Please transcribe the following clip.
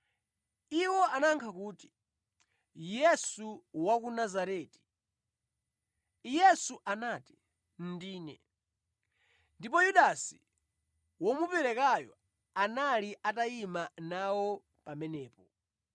Iwo anayankha kuti, “Yesu wa ku Nazareti.” Yesu anati, “Ndine.” (Ndipo Yudasi womuperekayo anali atayima nawo pamenepo).